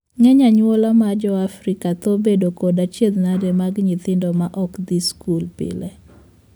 Ng'eny anyuola ma joafrika thoro bedo kod achiedhnade mag nyithindo ma ok dhii skul pile.